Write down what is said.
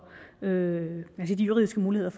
hvilke juridiske muligheder